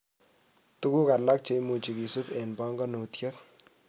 Tuguk alak cheimuch kesuib eng banganutiet